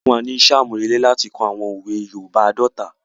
Wọn fún wa ni isẹ́ àmúrelé láti kọ àwọn òwe yoòbá àádọ́ta